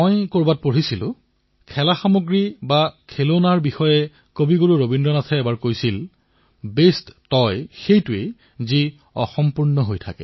মই কৰবাত পঢ়িবলৈ পাইছিলো যে খেলাসামগ্ৰী সন্দৰ্ভত গুৰুদেৱ ৰবীন্দ্ৰনাথ ঠাকুৰে কৈছিল যে শ্ৰেষ্ঠতম খেলাসামগ্ৰী সেইটোৱেই যি অসম্পূৰ্ণ হয়